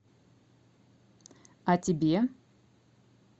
о тебе